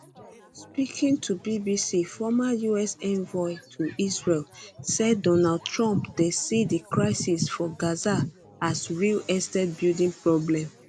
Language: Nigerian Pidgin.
speaking to bbc um former us envoy to israel say donald trump dey see di crisis for gaza um as real estate building problem